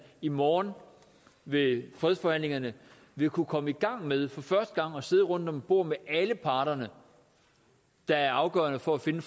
i morgen ved fredsforhandlingerne vil kunne komme i gang med for første gang at sidde rundt om et bord med alle de parter der er afgørende for at finde